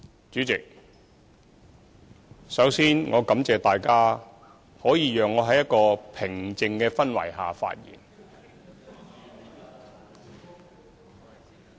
主席，首先，我感謝大家，讓我可以在一個平靜的氛圍下發言。